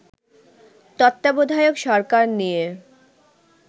তত্ত্বাবধায়ক সরকার নিয়ে